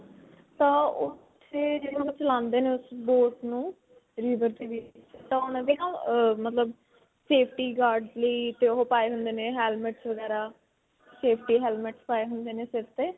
ਤਾਂ ਓੱਥੇ ਜੇ ਚਲਾਉਂਦੇ ਨੇ ਉਸ boat ਨੂੰ river ਤਾਂ ਉਨ੍ਹਾਂ ਦੀ ਨਾ ਮਤਲਬ safety guards ਲਈ ਤੇ ਓਹ ਪਾਏ ਹੁੰਦੇ ਨੇ helmetsਵਗੈਰਾ safety helmets ਪਾਏ ਹੁੰਦੇ ਨੇ ਸਿਰ ਤੇ.